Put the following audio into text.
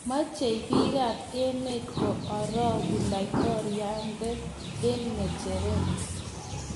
mechei biikab wmet ko oroku laitoriande eng ng'echeret